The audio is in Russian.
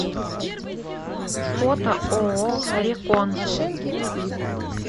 фото ооо рекон